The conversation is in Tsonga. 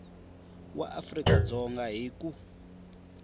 wa afrika dzonga hi ku